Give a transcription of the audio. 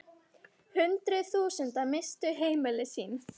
Hundruð þúsunda misstu heimili sín.